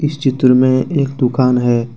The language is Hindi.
इस चित्र में एक दुकान है।